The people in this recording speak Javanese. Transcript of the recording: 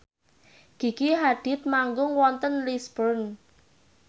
Gigi Hadid manggung wonten Lisburn